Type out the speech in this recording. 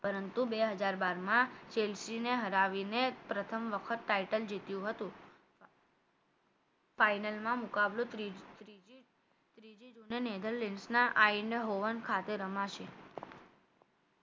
પરંતુ બે હજાર બાર માં ચેલ્સએ ને હરાવીને પ્રથમ વખત title જીત્યું હતું final માં મુકાબલો ત્રીજી ત્રીજી જૂને નહિતર નેધરલેન્ડ ના આઈના હોવન ખાતે રમાશે